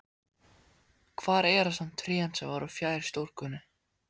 Hvar eru samt trén sem voru fjær stúkunni?